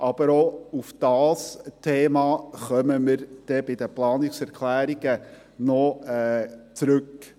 Aber auch auf dieses Thema kommen wir bei den Planungserklärungen zurück.